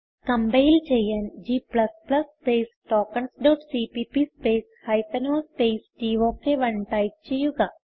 compile ചെയ്യാൻ g space tokens dot CPP space hyphen o space tok 1 type ചെയ്യുക